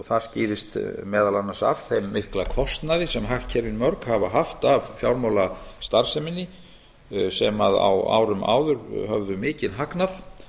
það skýrist meðal annars af þeirri miklu kostnaði sem hagkerfin hafa mörg haft af fjármálastarfseminni sem á árum áður höfðu mikinn hagnað